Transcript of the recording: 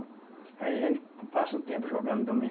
Aí a gente co passa o tempo jogando domi